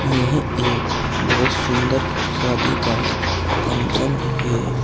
यह एक बहोत सुंदर शादी का फंक्शन है।